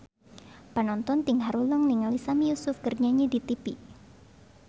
Panonton ting haruleng ningali Sami Yusuf keur nyanyi di tipi